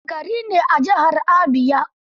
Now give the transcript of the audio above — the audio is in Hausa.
Aba gari ne a jihar Abia.